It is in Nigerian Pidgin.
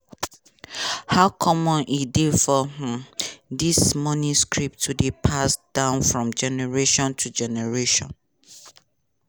how common e dey for um dis money scripts to dey passed down from generation to generation?